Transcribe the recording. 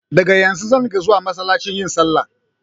Daga yanzu zan dinga zuwa massalaci yin sallah